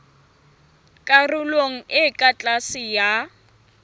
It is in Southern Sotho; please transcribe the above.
karolong e ka tlase ya